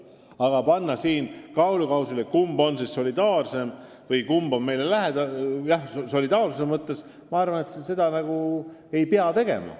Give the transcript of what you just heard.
Aga panna siin kaalukausile, kes on meile solidaarsuse mõttes kõige lähedasem – ma arvan, et seda ei pea tegema.